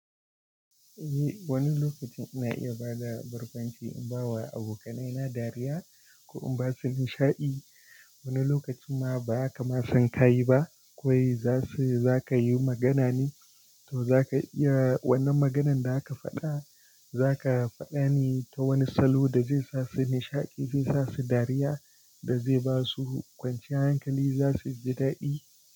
Eh, wani lokacin ina iya ba da barkwanci in ba wa abokanai na dariya ko in ba su nishaɗi. Wani lokacin ma bazaka ma san ka yi ba, kawai za su, za ka yi magana ne, to za ka iya wannan maganann da zaka faɗa, za ka faɗa ne ta wani salo da zai sa su nishaɗi, zai sa su dariya da zai ba su kwanciyar hankali za su ji daɗi.